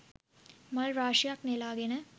මල් රාශියක් නෙලා ගෙන